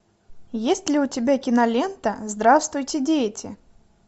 есть ли у тебя кинолента здравствуйте дети